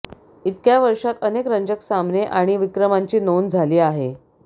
इतक्या वर्षात अनेक रंजक सामने आणि विक्रमांची नोंद झाली आहे